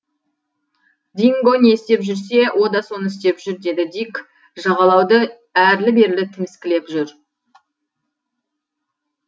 динго не істеп жүрсе о да соны істеп жүр деді дик жағалауды әрлі берлі тіміскілеп жүр